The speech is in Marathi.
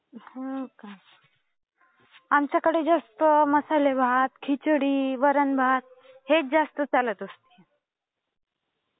हो का? आमच्याकडे जस्ट अं मसाले भात, खिचडी, वरण भात हेच जास्त चालत असतं.